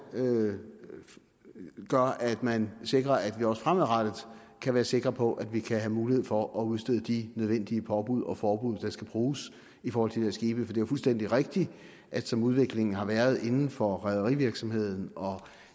gøre at man sikrer at vi også fremadrettet kan være sikre på at vi kan have mulighed for at udstede de nødvendige påbud og forbud der skal bruges i forhold til de der skibe for det er fuldstændig rigtigt at som udviklingen har været inden for rederivirksomhed og